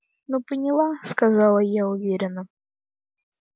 ну поняла сказала я уверенно